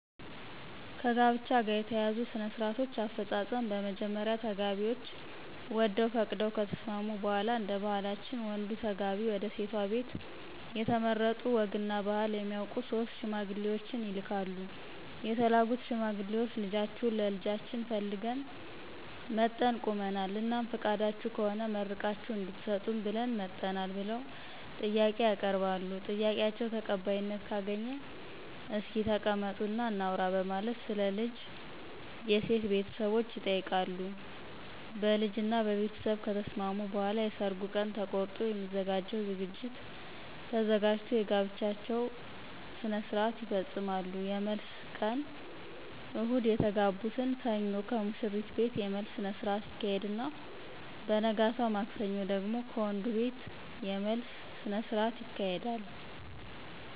ከጋብቻ ጋር የተያያዙ ሥነ -ስርአቶች አፈጻጸም በመጀመሪያ ተጋቢዎች ወደው ፈቅደው ከተስማሙ በሗላ እደባህላችን ወንዱ ተጋቢ ወደሴቷ ቤት የተመረጡ ወግ እና ባህል የሚያውቁ 3 ሽማግሌዎችን ይልካሉ የተላኩት ሽማግሌዎች ልጃችሁን ለልጃችን ፈልገን መጠን ቁመናል? እናም ፍቃዳችሁ ከሆነ መርቃችሁ እድትሰጡን ብለን መጠናል ብለው ጥያቄ ያቀርባሉ? ጥያቄአቸው ተቀባይነት ካገኘ እስኪ ተቀመጡ እና እናውራ በማለት ስለ ልጅ የሴት ቤተሰቦች ይጠይቃሉ ? በልጅ እና በቤተስብ ከተስማሙ በኃላ የሰርጉ ቀን ተቆርጦ የሚዘጋጀው ዝግጅት ተዘጋጅቶ የጋብቻቸውን ስርአት ይፈጾማሉ። የመልስ ቀን እሁድ የተጋቡትን ሰኞ ከሙሽሪት ቤት የመልስ ስነስረአት ይካሄድና በነገታው ማክሰኞ ደግሞ ከወንዱቤት የመልስ ስነስርአት ይካሄዳል።